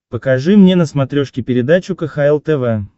покажи мне на смотрешке передачу кхл тв